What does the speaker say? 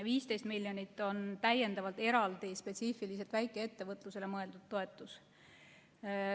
15 miljonit on eraldi, spetsiifiliselt väikeettevõtlusele mõeldud toetus.